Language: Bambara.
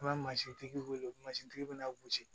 An bɛ mansintigi wele mansintigi bɛna gosi